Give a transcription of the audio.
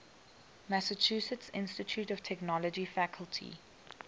massachusetts institute of technology faculty